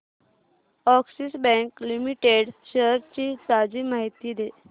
Axis bank limited shares ची ताजी माहिती दे